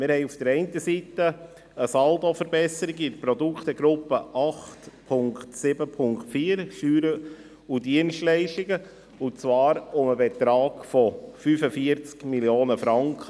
Wir haben auf der einen Seite eine Saldoverbesserung in der Produktegruppe 8.7.4, Steuern und Dienstleistungen, und zwar um den Betrag von 45 Mio. Franken.